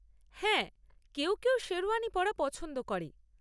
হ্যাঁ, কেউ কেউ শেরওয়ানি পরা পছন্দ করে।